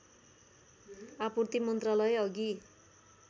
आपूर्ति मन्त्रालय अघि